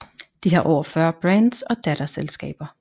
De har over 40 brands og datterselskaber